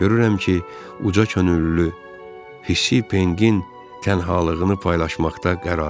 Görürəm ki, uca könüllü hissi Penqin tənhalığını paylaşmaqda qərarlıdır.